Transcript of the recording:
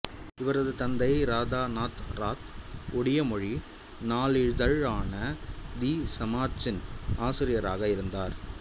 இவரது தந்தை ராதாநாத் ராத் ஒடியா மொழி நாளிதழான தி சமாச்சின் ஆசிரியராக இருந்தார்